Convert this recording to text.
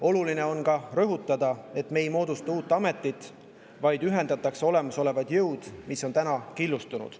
Oluline on ka rõhutada, et me ei moodusta uut ametit, vaid ühendatakse olemasolevad jõud, mis on täna killustunud.